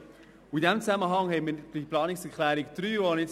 In diesem Zusammenhang steht für uns die Planungserklärung